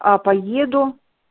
а поеду